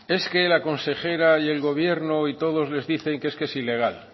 es que la consejera y el gobierno y todos les dicen que es que es ilegal